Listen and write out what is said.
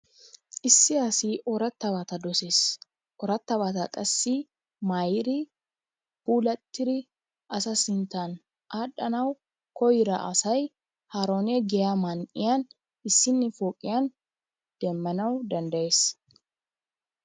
Issi asi ooratabata dosees, ooratabata qassi maayidi puulattidi asa sinttawu aadhanawu koyida asay haarone giyaa man'iyan issini pooqiyan demmanawu danddayees.